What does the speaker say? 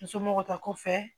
Musomɔgɔ ta kɔfɛ